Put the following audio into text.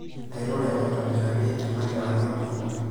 Airure aitobiraki ena kewarie eduoo.